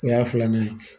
O y'a filanan ye